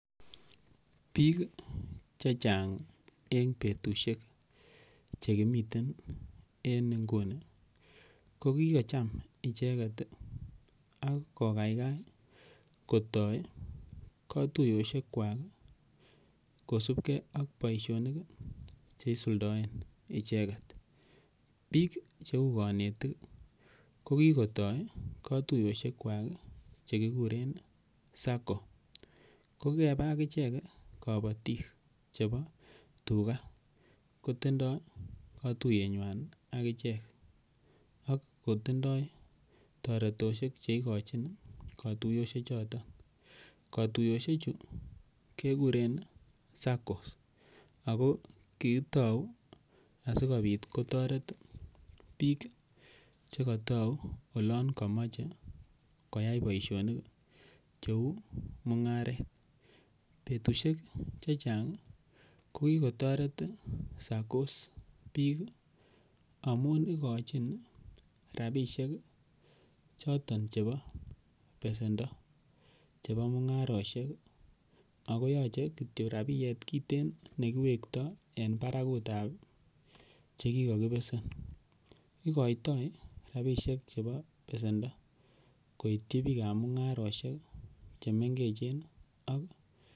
Biik chechang' eng' betushek chekimite en nguni kokikocham icheget akokaikai kotoi katuiyoshekwak kosubkei ak boishonik cheisuldoen icheget biik cheu kanetik kokikotoi katuiyoshekwak chekikuren sacco ko kikonam akichek kabotik chebo tuga kotindoi katuyengwany akichek ak kotindoi taretoshek cheikochin katuiyoshechoto katuiyoshechu kekuren sacco ako kikitou asikobit kotoret biik chekatau olon kamochei koyai boishonik cheu mung'aret betushek chechang' kokikotoret saccos biik amun ikochin rapishek choton chebo besendo chebo mung'aroshek akoyochei kityo rapiet kitin nekiwektoi en barakutab chekikakibesen ikoitoi rapishek chebo besendo koityi biikab mung'aroshek chemengechen